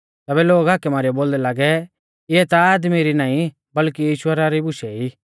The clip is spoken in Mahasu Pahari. तैबै लोग हाकै मारीयौ बोलदै लागै इऐ ता आदमी री नाईं बल्कि ईश्वरा री बुशै ई